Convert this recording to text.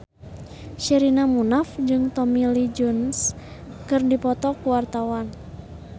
Sherina Munaf jeung Tommy Lee Jones keur dipoto ku wartawan